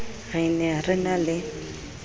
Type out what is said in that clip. re ne re na le